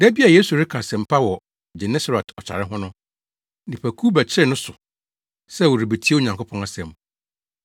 Da bi a Yesu reka asɛmpa wɔ Genesaret ɔtare ho no, nnipakuw bɛkyeree ne so sɛ wɔrebetie Onyankopɔn asɛm.